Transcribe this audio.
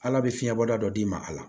Ala bɛ fiɲɛ bɔda dɔ d'i ma a la